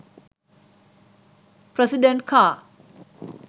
president car